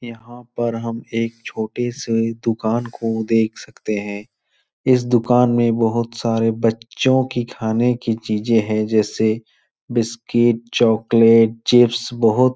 यहाँ पर हम एक छोटे से दुकान को देख सकते हैं। इस दुकान में बहुत सारे बच्चों की खाने की चीज़ें हैं जैसे बिस्किट चोकलेट चिप्स बहुत --